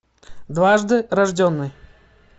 дважды рожденный